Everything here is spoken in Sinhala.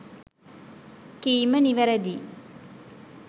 කීම නිවැරදියි